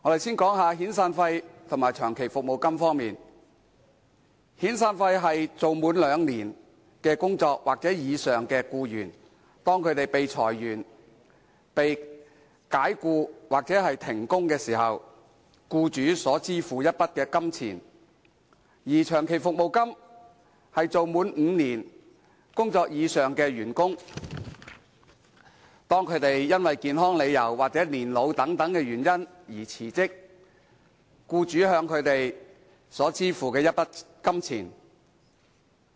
先說遣散費及長期服務金，遣散費是當工作滿兩年或以上的僱員被裁員、解僱或停工時，僱主所支付的一筆金錢；而長期服務金則是當工作滿5年或以上的員工，因健康理由或年老等原因而辭職時，僱主向他們支付的一筆金錢。